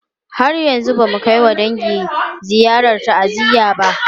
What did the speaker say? Har yanzu ba mu kai wa dangi ziyarar ta'aziyya ba.